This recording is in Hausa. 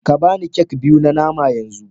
Ka ba ni kek biyu na nama yanzu